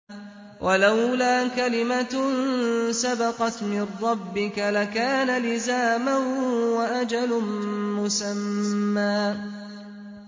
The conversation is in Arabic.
وَلَوْلَا كَلِمَةٌ سَبَقَتْ مِن رَّبِّكَ لَكَانَ لِزَامًا وَأَجَلٌ مُّسَمًّى